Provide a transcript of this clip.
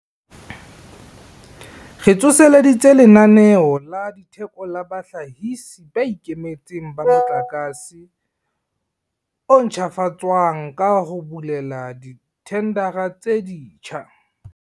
Re tsoseleditse Lenaneo la Theko la Bahlahisi ba Ikemetseng ba Motlakase o Ntjhafatswang ka ho bulela dithendara tse ditjha.